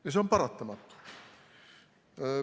Ja see on paratamatu.